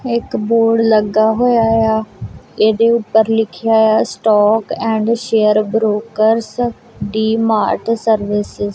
ਇੱਕ ਬੋਰਡ ਲੱਗਾ ਹੋਇਆ ਆ ਇਹਦੇ ਉੱਪਰ ਲਿਖਿਆ ਇਆ stock and share brokers D Mart services.